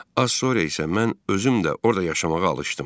Az sonra isə mən özüm də orada yaşamağa alışdım.